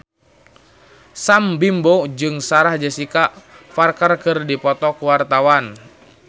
Sam Bimbo jeung Sarah Jessica Parker keur dipoto ku wartawan